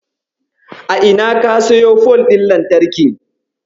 A ina ka siyo fol ɗin lantarkin?